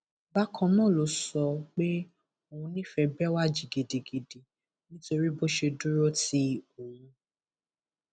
bákan náà ló sọ pé òun nífẹẹ bẹwàji gidigidi nítorí bó ṣe dúró ti òun